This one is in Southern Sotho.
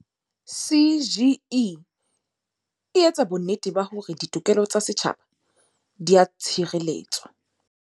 CGE e etsa bonnete ba hore ditokelo tsa setjhaba di a tshireletswa.